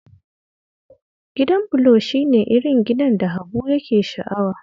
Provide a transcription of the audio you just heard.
Gidan bulo shi ne irin gidan da Habu yake sha'awa